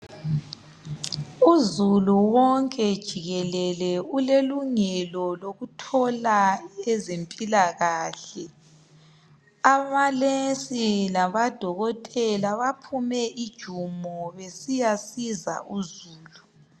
Uzulu wonke jikelele ulelungelo lokuthola ezempilakahle onesi labo dokotela baphume ijumo besiyasiza uzulu